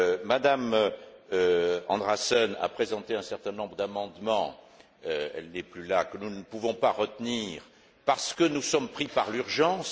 M me Andreasen a présenté un certain nombre d'amendements elle n'est plus là que nous ne pouvons pas retenir parce que nous sommes pris par l'urgence.